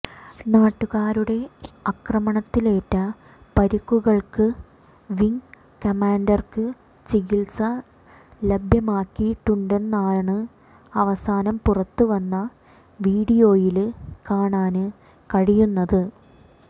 നാട്ടുകാരുടെ ആക്രമണത്തിലേറ്റ പരിക്കുകള്ക്ക് വിങ് കമാന്ഡര്ക്ക് ചികിത്സ ലഭ്യമാക്കിയിട്ടുണ്ടെന്നാണ് അവസാനം പുറത്ത് വന്ന വീഡിയോയില് കാണാന് കഴിയുന്നത്